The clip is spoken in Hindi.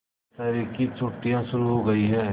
दशहरे की छुट्टियाँ शुरू हो गई हैं